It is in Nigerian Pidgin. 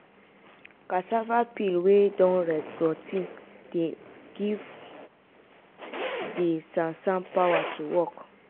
cassava peel wey don rotti dey give [?.] de sansan pawa to work.